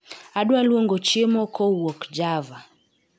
Adwa luongo chiemo kowuok java